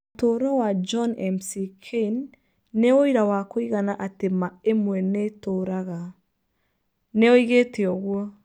Ũtũũro wa John McCain nĩ ũira wa kũigana atĩ ma ĩmwe nĩ ĩtũũraga, nĩ oigĩte ũguo.